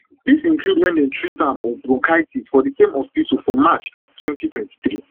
dis include wen dem treat am of bronchitis for di same hospital for march two thousand and twenty-three